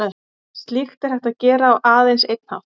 Slíkt er hægt að gera á aðeins einn hátt.